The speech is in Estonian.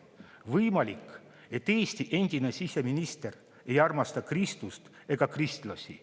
Võimalik, et Eesti endine siseminister ei armasta Kristust ega kristlasi.